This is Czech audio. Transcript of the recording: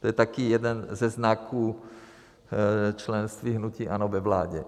To je taky jeden ze znaků členství hnutí ANO ve vládě.